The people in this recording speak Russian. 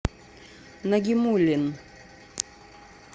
нагимуллин